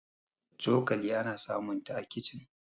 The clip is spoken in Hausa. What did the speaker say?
cokali ana samunta a kicin